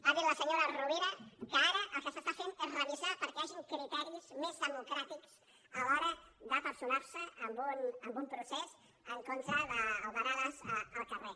ha dit la senyora rovira que ara el que s’està fent és revisar perquè hi hagi criteris més democràtics a l’hora de personar se en un procés en contra d’aldarulls al carrer